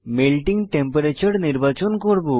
melting temperature নির্বাচন করব